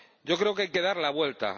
Yo creo que hay que dar la vuelta